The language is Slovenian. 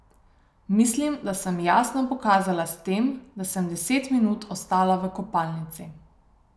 Mislim, da sem jasno pokazala s tem, da sem deset minut ostala v kopalnici.